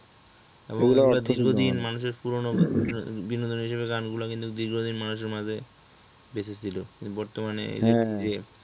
ওগুলা দীর্ঘদিন মানুষের পুরনো বিনোদন হিসাবে গান গুলা দীর্ঘদিন মানুষের মাঝে বেঁচে ছিল বর্তমানে যে